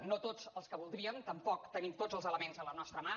no tots els que voldríem tampoc tenim tots els elements a la nostra mà